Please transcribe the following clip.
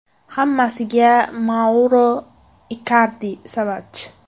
Hammasiga Mauro Ikardi sababchi.